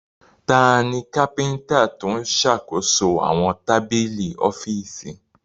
Tani kápíntà tó ṣàkóso àwọn tábìlì ọ́fíìsì?